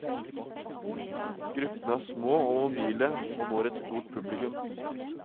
Gruppene er små og mobile og når et stort publikum.